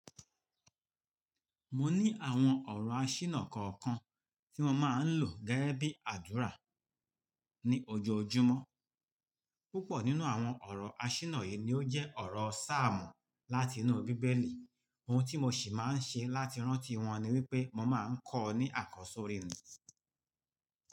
Mo ní àwọn ọ̀rọ̀ àṣìná kọ̀ọ̀kan tí mo máa ń lò gẹ́gẹ́ bí àdúrà ní ojoojúmọ́. Púpọ̀ nínú àwọn ọ̀rọ̀ àṣìná yìí ni ó jẹ́ ọ̀rọ̀ sáàmù láti inú bíbélì. Ohun tí mo sì máa ń ṣe láti rántí wọn ni wípé mo máa ń kọ ní àkọsọ́rí mi.